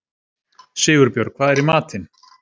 Sigurbjörg, hvað er í matinn?